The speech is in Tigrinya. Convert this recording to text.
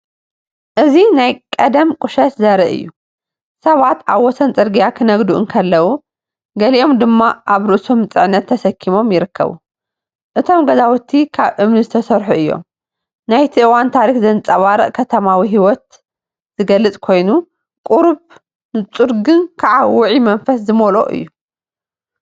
እዚ ናይ ቀደም ቁሸት ዘርኢ እዩ፤ ሰባት ኣብ ወሰን ጽርግያ ክነግዱ እንከለዉ፡ገሊኦም ድማ ኣብ ርእሶም ጽዕነት ተሰኪሞም ይርከቡ። እቶም ገዛውቲ ካብ እምኒ ዝተሰርሑ እዮም። ናይቲ እዋን ታሪኽ ዘንጸባርቕ ከተማዊ ህይወት ዝገልጽ ኮይኑ፡ቁሩብ ንጹር ግን ከኣውዑይ መንፈስ ዝመልኦ እዩ።